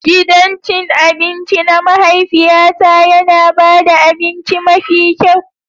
Gidan cin abinci na mahaifiyata yana ba da abinci mafi kyau.